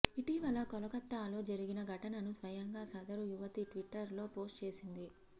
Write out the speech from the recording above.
ఇటీవల కోలకత్తాలో జరిగిన ఘటనను స్వయంగా సదరు యువతి ట్విట్టర్ లో పోస్ట్ చేసింది